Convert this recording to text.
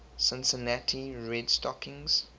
cincinnati red stockings